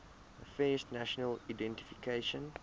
affairs national identification